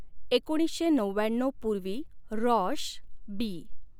एकोणीसशे नवव्याण्णऊ पूर्वी, रॉष, बी.